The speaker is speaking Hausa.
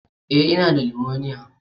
Eh, I na da "pneumonia ".